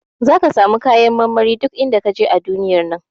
Zaka samu kayan marmari duk inda kaje a duniyar nan.